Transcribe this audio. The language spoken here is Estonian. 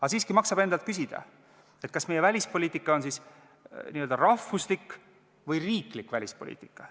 Aga siiski maksab endalt küsida, kas meie välispoliitika on n-ö rahvuslik või riiklik välispoliitika.